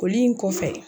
Foli in kɔfɛ